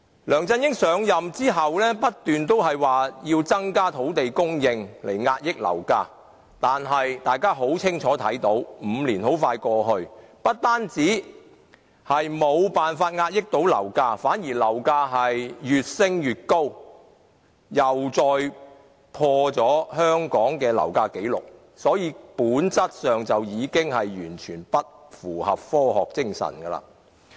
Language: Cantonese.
梁振英上任後不斷說要增加土地供應來遏抑樓價，但大家很清楚看到 ，5 年很快過去，不單沒有辦法遏抑樓價，樓價反而越升越高，又再打破香港的樓價紀錄，所以本質上已經完全不符合科學精神。